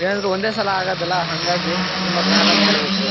ಏನಾದ್ರು ಒಂದೇ ಸಲ ಆಗೋದಲ್ಲಾ ಹಂಗಾಗಿ ತುಂಬಾ ಗ್ರಾಂಡ್ ಆಗಿ ಮಾಡಬೇಕು.